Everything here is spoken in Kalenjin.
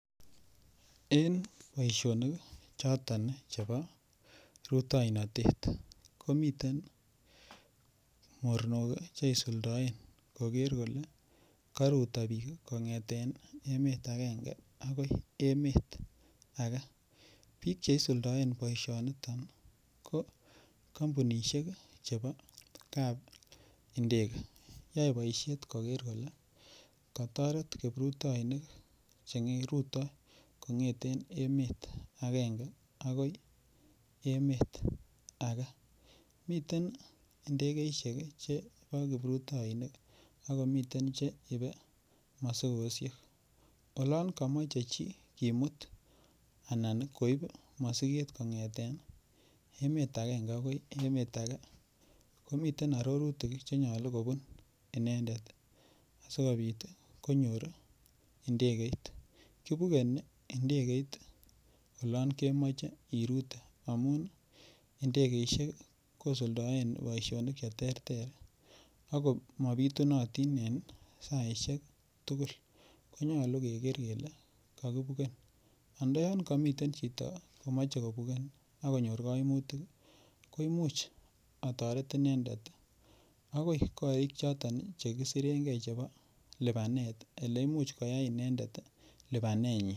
en boishonik choton chebo rutoinotet, komiten mornook iih cheisuldoen kogeer kole koruto biik kongeten emet agenge agoi emet age, biik cheisuldoen boishoniton ko kombunishek iih chebo kap indege yoe boishet kogeer kole kotoret kiprutoinik cherutoo kongeten eet agenge agoi emet age, miten ndegeishek che bo kiprutoinik ak komiten che ibe mosigoshek, olon komoche chi kimuut anan koib mosigeet kongeteen emet agenge agoi emet age, komiten ororutik chenyolu kobuun inendet sigobiit konyoor iih ndegeit, kibune ndegeit olon kemoche irute ,amuun ndegeishek iih kosudoen boishonik cheterter ago mobitunotin en saisiek tugul konyolu kegeer kele kogibuken, andoyoon komiten chito negeomoche kobuken iih ak konyoor koimutik ih koimuch otoret inendet agoi koriik choton chegisiren gee chebo lipaneet eleimuch koyaai inendet lipaneet nyiin.